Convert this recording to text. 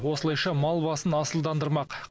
осылайша мал басын асылдандырмақ